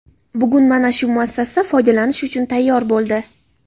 Bugun mana shu muassasa foydalanish uchun tayyor bo‘ldi.